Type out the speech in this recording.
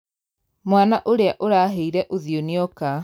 Mwana ũrĩa ũrahĩire ũthio nĩoka.